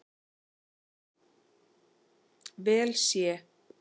vel sé.